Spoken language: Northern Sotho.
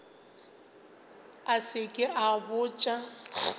a se ke a botša